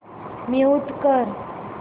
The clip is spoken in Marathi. म्यूट कर